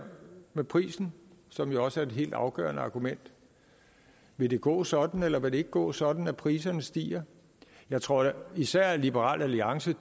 med prisen som jo også er et helt afgørende argument vil det gå sådan eller vil det ikke gå sådan at priserne stiger jeg tror da især at liberal alliance